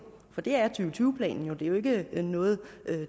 for det er og tyve planen jo det er jo ikke noget